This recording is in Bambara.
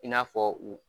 I n'a fɔ u